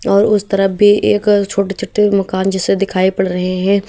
और उस तरफ भी एक छोटे छोटे मकान जैसे दिखाई पड़ रहे हैं।